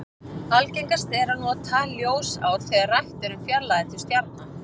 Algengast er að nota ljósár þegar rætt er um fjarlægðir til stjarna.